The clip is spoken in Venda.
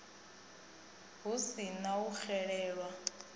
hu si na u xelelwa